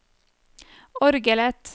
orgelet